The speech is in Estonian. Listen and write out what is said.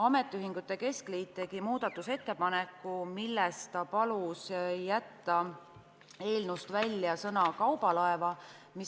Ametiühingute keskliit tegi muudatusettepaneku, milles ta palus jätta eelnõust välja sõna "kaubalaeva".